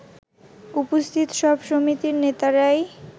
উপস্থিত সব সমিতির নেতারাই